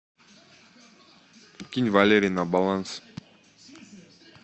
кинь валере на баланс